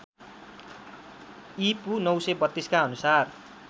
ईपू ९३२ का अनुसार